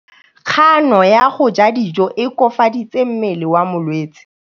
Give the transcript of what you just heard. Kganô ya go ja dijo e koafaditse mmele wa molwetse.